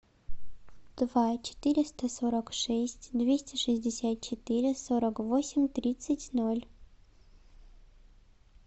два четыреста сорок шесть двести шестьдесят четыре сорок восемь тридцать ноль